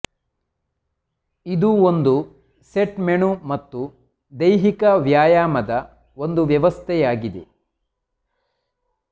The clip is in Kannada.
ಇದು ಒಂದು ಸೆಟ್ ಮೆನು ಮತ್ತು ದೈಹಿಕ ವ್ಯಾಯಾಮ ಒಂದು ವ್ಯವಸ್ಥೆಯಾಗಿದೆ